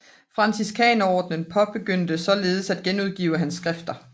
Franciskanerordenen begyndte således at genudgive hans skrifter